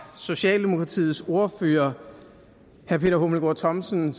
socialdemokratiets ordfører herre peter hummelgaard thomsen